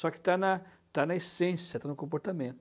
Só que está na está na essência, está no